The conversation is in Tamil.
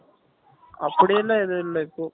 அப்படியெல்லாம் எதும் இல்ல இப்போ